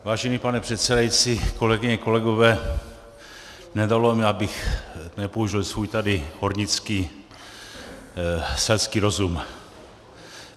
Vážený pane předsedající, kolegyně, kolegové, nedalo mi, abych nepoužil svůj tady hornický selský rozum.